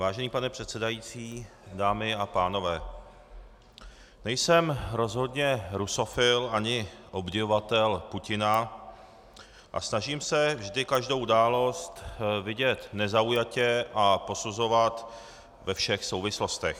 Vážený pane předsedající, dámy a pánové, nejsem rozhodně rusofil ani obdivovatel Putina a snažím se vždy každou událost vidět nezaujatě a posuzovat ve všech souvislostech.